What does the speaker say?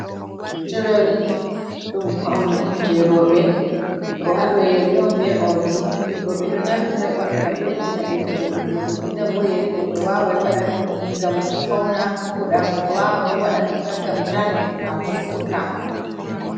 Jewaris ɗum pawni on jey rowɓe, ɗo haaɗo yeri on be oldi, bo ɓe ɗo naftira ɗum ngam ɓeddinaɓe vooɗuugo. Ndenndenta bo yeri goɗɗo waaway waɗa, ngam fawna vooɗa, goɗɗo waaway bo waɗa ɗum tan, ngam ta noppi maako sukka.